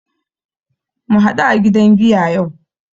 Mu haɗu a gidan giya yau